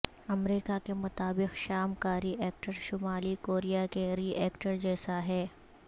امریکہ کے مطابق شام کا ری ایکٹر شمالی کوریا کے ری ایکٹر جیسا ہے